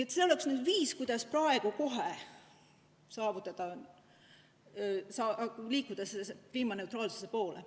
Aga see oleks viis, kuidas praegu kohe liikuda kliimaneutraalsuse poole.